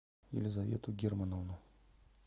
елизавету германовну